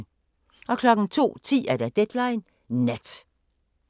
02:10: Deadline Nat